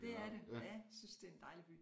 Det er det ja synes det er en dejlig by